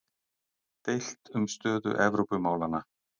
Deilt um stöðu Evrópumálanna